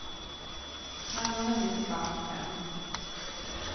Han har hunnit till band fem.